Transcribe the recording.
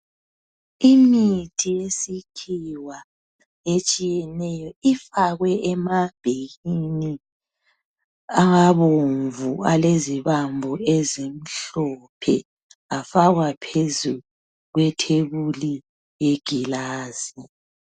Imithi yesikhiwa etshiyeneyo ifakwe ema bhekini abomvu alezibambo ezimhlophe afakwa phezu kwe thebuli yegilasi.